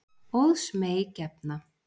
Óðs mey gefna.